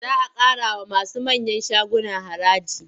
Za a ƙarawa masu manyan shaguna haraji.